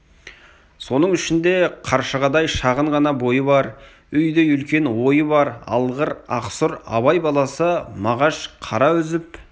соның ішінде қаршығадай шағын ғана бойы бар үйдей үлкен ойы бар алғыр ақсұр абай баласы мағаш қара үзіп